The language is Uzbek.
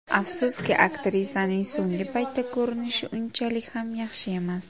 Afsuski, aktrisaning so‘nggi paytda ko‘rinishi unchalik ham yaxshi emas.